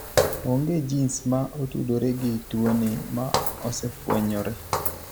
Ong'e gins ma otudore gi tuoni ma osefwenyore.